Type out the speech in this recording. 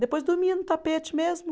Depois dormia no tapete mesmo.